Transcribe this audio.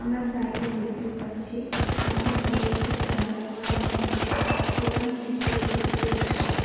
আর সাইডে দেখতে পাচ্ছি অনেক বড় একটি জানালা করা হয়েছে এখান থেকে রোদ্রু আসচে।